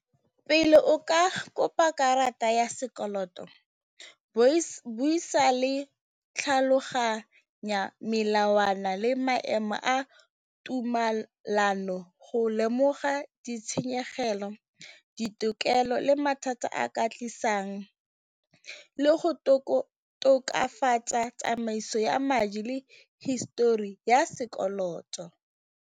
Pele o ka kopa karata ya sekoloto buisa le tlhaloganya melawana le maemo a tumalano go lemoga ditshenyegelo, ditokelo le mathata a ka tlisang le go tokafatsa tsamaiso ya madi le history ya sekoloto.